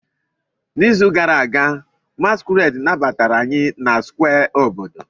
N'izu gara aga, masquerades nabatara anyị na Square obodo.